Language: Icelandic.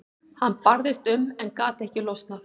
Hann barðist um en gat ekki losnað.